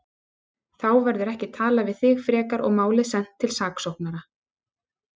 Þá verður ekki talað við þig frekar og málið sent til saksóknara.